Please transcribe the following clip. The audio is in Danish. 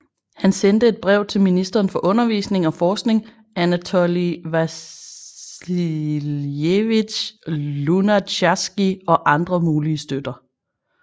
Han sendte et brev til ministeren for Undervisning og forskning Anatolij Vasiljevitj Lunatjarskij og andre mulige støtter